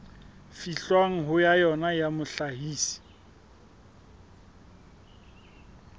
fihlwang ho yona ya mohlahisi